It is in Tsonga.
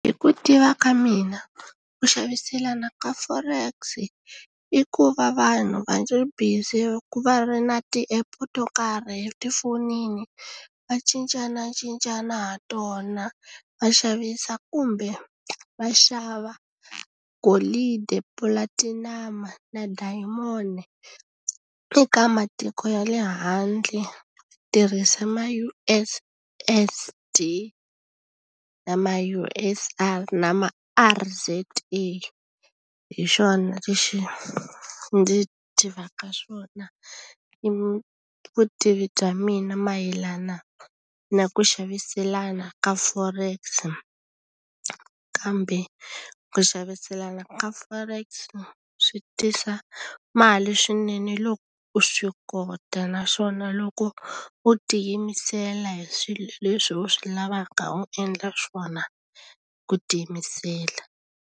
Hi ku tiva ka mina ku xaviselana ka Forex i ku va vanhu va ri busy va ri na ti-app to karhi etifonini va cincanacincana ha tona va xavisa kumbe va xava golidi platinum na diamon-i eka matiko ya le handle tirhisa ma U_S_S_D na ma U_S_I na ma R_Z_E hi xona lexi ndzi tivaka swona ni vutivi bya mina mayelana na ku xaviselana ka Forex kambe ku xaviselana ka Forex swi tisa mali swinene loko u swi kota naswona loko u tiyimisela hi swilo leswi u swi lavaka u endla swona ku tiyimisela.